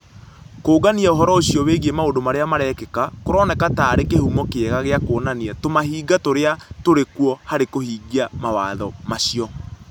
Kũũngania ũhoro ũcio wĩgiĩ maũndũ marĩa marekĩka kũroneka ta arĩ kĩhumo kĩega gĩa kuonania tũmahĩnga tũrĩa tũrĩ kuo harĩ kũhingia mawatho macio.